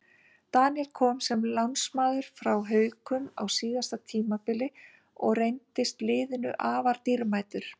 Daníel kom sem lánsmaður frá Haukum á síðasta tímabili og reyndist liðinu afar dýrmætur.